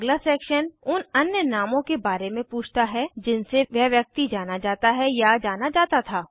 अगला सेक्शन उन अन्य नामों के बारे में पूछता है जिनसे वह व्यक्ति जाना जाता है या जाना जाता था